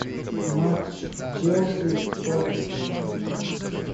матч челси с тоттенхэмом